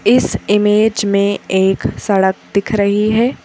इस इमेज में एक सड़क दिख रही है।